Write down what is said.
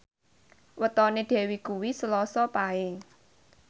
wetone Dewi kuwi Selasa Paing